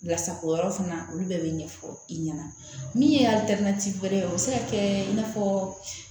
Lasako yɔrɔ fana olu bɛɛ bɛ ɲɛfɔ i ɲɛna min ye wɛrɛ bɛ se ka kɛ i n'a fɔ